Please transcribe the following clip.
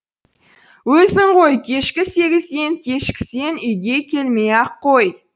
өзің ғой кешкі сегізден кешіксең үйге келмей ақ қой